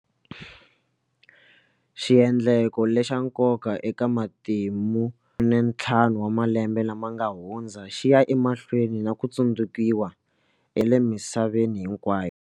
Xiendleko lexa nkoka eka matimu 45 wa malembe lama nga hundza xi ya emahlweni na ku tsundzukiwa na le misaveni hinkwayo.